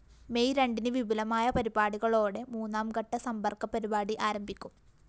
May രണ്ടിന് വിപുലമായ പരിപാടികളോടെ മൂന്നാംഘട്ടസമ്പര്‍ക്ക പരിപാടി അരംഭിക്കും